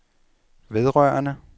vedrørende